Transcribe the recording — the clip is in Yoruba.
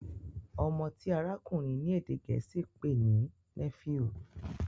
ọmọ ti arakunrin ní èdè gèésì pé ní " Nephew"